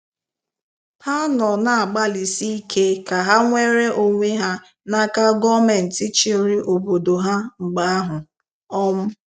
Ha nọ na-agbalịsị ike ka ha nwere onwe ha n’aka gọọmenti chịrị obodo ha mgbe ahụ um.